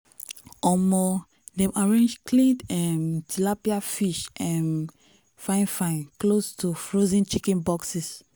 omo dem arrange cleaned um tilapia fish um fine-fine close to frozen chicken boxes.